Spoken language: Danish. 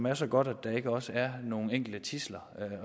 er så godt at der ikke også er nogle enkelte tidsler